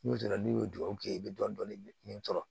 N'o kɛra n'i ye duwawu kɛ i bɛ dɔnni min sɔrɔ